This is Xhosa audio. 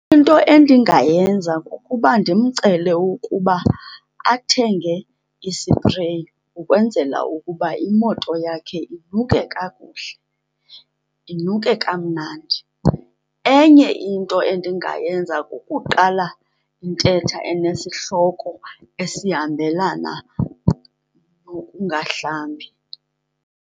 Into endingayenza kukuba ndimcele ukuba athenge isipreyi ukwenzela ukuba imoto yakhe inuke kakuhle, inuke kamnandi. Enye into endingayenza kukuqala intetha enesihloko esihambelana nokungahlambi.